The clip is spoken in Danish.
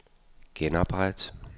genopret